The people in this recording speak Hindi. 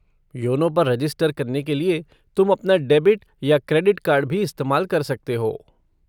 योनो पर रजिस्टर करने के लिए तुम अपना डेबिट या क्रेडिट कार्ड भी इस्तेमाल कर सकते हो।